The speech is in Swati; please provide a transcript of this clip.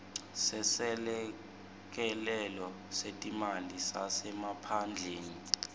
seselekelelo setimali sasemaphandleni